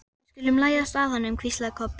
Við skulum læðast að honum, hvíslaði Kobbi.